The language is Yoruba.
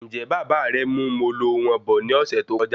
Njẹ Bàbá rẹ mú Molo wọn bọ̀ ní ọsẹ tó kọjá